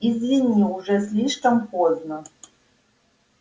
извини уже слишком поздно